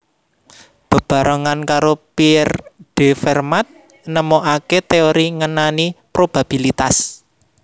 Bebarengan karo Pierre de Fermat nemokaké téori ngenani probabilitas